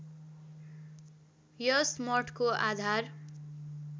यस मठको आधार